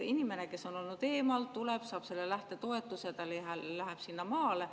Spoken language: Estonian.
Inimene, kes on olnud eemal, tuleb, saab selle lähtetoetuse, ta läheb sinna maale.